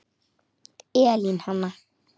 Elín Hanna.